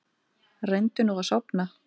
Reyndu nú að sofna.